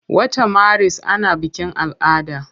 Wata maris ana bikin ala'ada.